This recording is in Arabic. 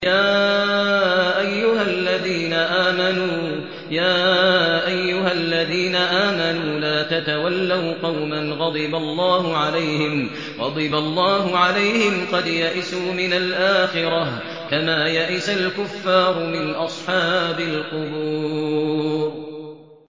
يَا أَيُّهَا الَّذِينَ آمَنُوا لَا تَتَوَلَّوْا قَوْمًا غَضِبَ اللَّهُ عَلَيْهِمْ قَدْ يَئِسُوا مِنَ الْآخِرَةِ كَمَا يَئِسَ الْكُفَّارُ مِنْ أَصْحَابِ الْقُبُورِ